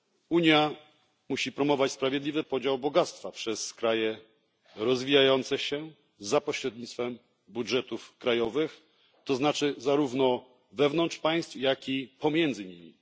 Unia musi promować sprawiedliwy podział bogactwa przez kraje rozwijające się za pośrednictwem budżetów krajowych, to znaczy zarówno wewnątrz państw, jak i pomiędzy nimi.